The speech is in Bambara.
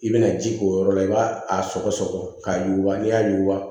I bɛna ji k'o yɔrɔ la i b'a a sɔgɔ sɔgɔ k'a yuguba n'i y'a yuguba